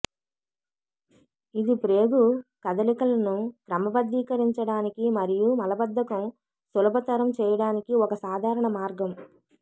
ఇది ప్రేగు కదలికలను క్రమబద్దీకరించడానికి మరియు మలబద్ధకం సులభతరం చేయడానికి ఒక సాధారణ మార్గం